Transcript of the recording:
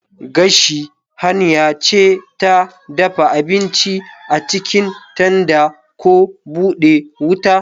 Gashi hanya ce ta dafa abinci a cikin tanda ko bude wuta.